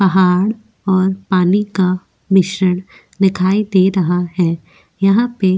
पहाड़ और पानी का मिश्रण दिखाई दे रहा है यहां पे --